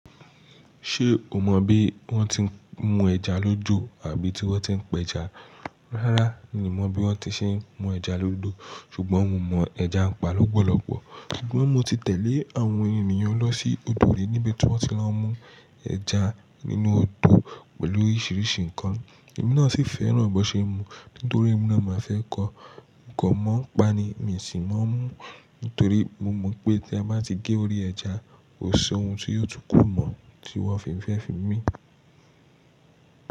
Ṣé o mọ bí wọ́n ti n mú ẹja lójó àbí tí wọ́n ti n pẹ ẹja? Rárá mi mọ bí wọ́n ti n ṣe mú ẹja lódó ṣùgbọ́n mo mọ ẹja ń pa lọ́polopo. Ṣùgbọ́n mo ti tẹ̀lé àwọn ènìyàn lọ sí odò ri níbi tí wọ́n ti lọ mú ẹja nínú odò pẹ̀lú oríṣiríṣi nǹkan. Ẹ̀mí náà sì fẹ́ràn bọ́ n ṣe n mú nítorí ẹ̀mí náà máa fẹ́ kọ. Mo kan mọ̀ ń pa ni, mi sì mọ̀ nítorí mo mọ̀ pé tí a bá ti gé orí ẹja, kò sí ohun tí yóò túkù mọ́ tí wọn fi ń fẹ́ fi mí.